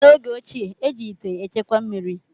N’oge ochie, eji ite echekwa mmiri